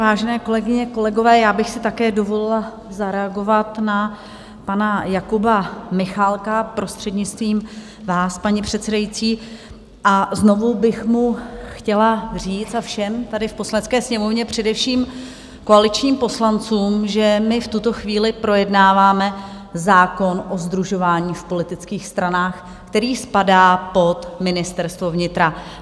Vážené kolegyně, kolegové, já bych si také dovolila zareagovat na pana Jakuba Michálka, prostřednictvím vás, paní předsedající, a znovu bych mu chtěla říct, a všem tady v Poslanecké sněmovně, především koaličním poslancům, že my v tuto chvíli projednáváme zákon o sdružování v politických stranách, který spadá pod Ministerstvo vnitra.